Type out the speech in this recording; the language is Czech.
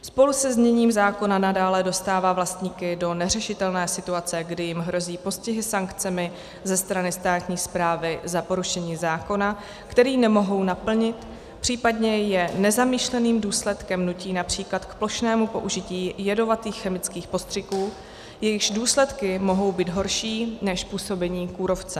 Spolu se zněním zákona nadále dostává vlastníky do neřešitelné situace, kdy jim hrozí postihy sankcemi ze strany státní správy za porušení zákona, který nemohou naplnit, případně je nezamýšleným důsledkem nutí například k plošnému použití jedovatých chemických postřiků, jejichž důsledky mohou být horší než působení kůrovce.